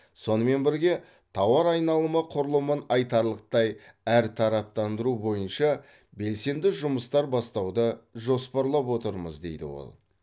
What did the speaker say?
сонымен бірге тауар айналымы құрылымын айтарлықтай әртараптандыру бойынша белсенді жұмыстар бастауды жоспарлап отырмыз дейді ол